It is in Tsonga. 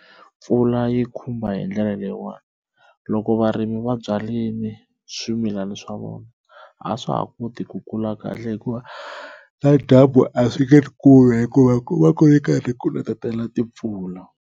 Mpfula yi khumba hi ndlela leyiwani loko varimi va byarile swimilana swa vona a swa ha koti ku kula kahle hikuva na dyambu a swi nge ri kumi hikuva ku va ku ri karhi ku netela timpfula.